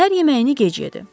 Səhər yeməyini gec yedi.